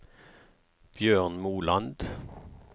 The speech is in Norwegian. Bjørn Moland